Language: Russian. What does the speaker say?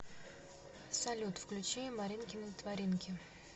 салют включи маринкины творинки